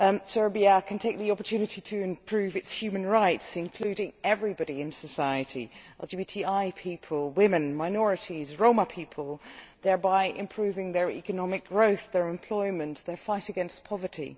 Serbia can take the opportunity to improve its human rights, including everybody in society LGBTI people, women, minorities and Roma people, thereby improving their economic growth, their employment prospects and their fight against poverty.